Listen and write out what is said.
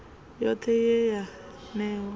yothe ye ye ya newa